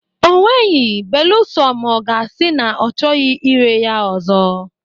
O nweghị, beluso ma ọ ga-asị na ọ chọghị irè ya ọzọ.